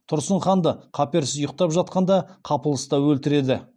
тұрсын ханды қаперсіз ұйықтап жатқанда қапылыста өлтіреді